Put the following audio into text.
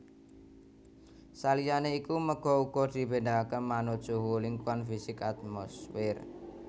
Saliyané iku méga uga dibédakaké manut suhu lingkungan fisik atmosfer